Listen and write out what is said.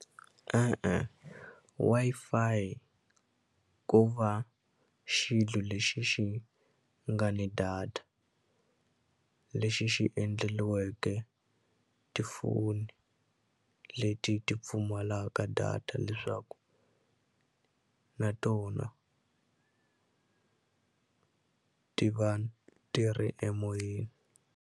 E-e, Wi-Fi ko va xilo lexi xi nga ni data lexi xi endleliweke tifoni leti ti pfumalaka data leswaku na tona ti va ti ri emoyeni.